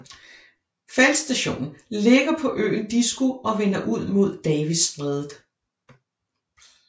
Feltstationen ligger på øen Disko og vender ud mod Davis Strædet